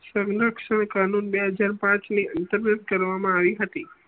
સંરક્ષણ ખણું બે હજાર પાંચ ની અંતર્ગત કરવામા આવી હતી